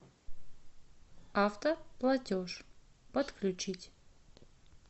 автоплатеж подключить